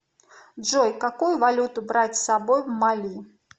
джой какую валюту брать с собой в мали